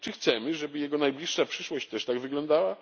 Czy chcemy, żeby jego najbliższa przyszłość też tak wyglądała?